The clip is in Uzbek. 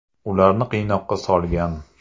Ularni qiynoqqa solgan.